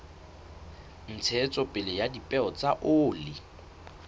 ntshetsopele ya dipeo tsa oli